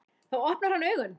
Þá opnar hann augun.